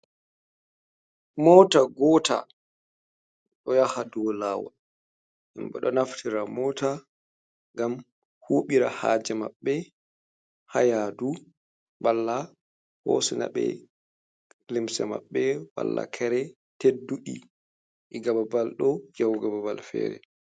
Mota gota ɗo yaha dow lawol, himɓe ɗo naftira mota ngam huɓira haje maɓɓe ha yaadu, balla hosina ɓe limse maɓɓe, balla kere teddundi diga ɓabal ɗo yahugo ɓabal fere.